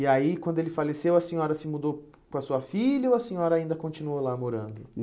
E aí, quando ele faleceu, a senhora se mudou com a sua filha ou a senhora ainda continuou lá morando?